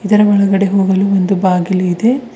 ಇದರ ಒಳಗಡೆ ಹೋಗಲು ಒಂದು ಬಾಗಿಲು ಇದೆ.